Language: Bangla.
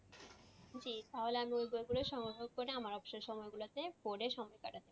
জি তাহলে আমি ওই বই গুলো সংগ্রহ করে আমার অবসর সময় গুলাতে পরে সময় কাটাবো।